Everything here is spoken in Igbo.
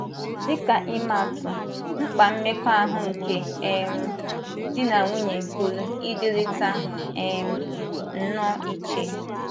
Dị ka imaatụ, mkpa mmekọahụ nke um di na nwunye pụrụ ịdịrịta um nnọọ iche.